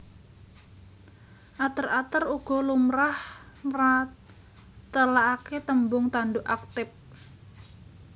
Ater ater uga lumrah mratèlakaké tembung tanduk aktip